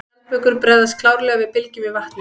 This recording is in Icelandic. Skjaldbökur bregðast klárlega við bylgjum í vatni.